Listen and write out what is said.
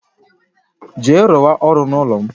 Jee rụ wa ọrụ n'ụlọ m